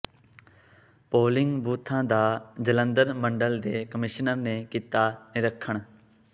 polling ਬੂਥਾਂ ਦਾ ਜਲੰਧਰ ਮੰਡਲ ਦੇ ਕਮਿਸ਼ਨਰ ਨੇ ਕੀਤਾ ਨਿਰੀਖਣ